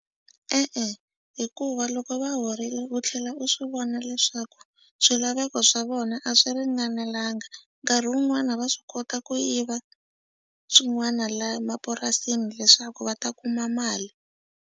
E-e, hikuva loko va horile u tlhela u swi vona leswaku swilaveko swa vona a swi ringanelanga nkarhi wun'wani va swi kota ku yiva swin'wana la mapurasini leswaku va ta kuma mali.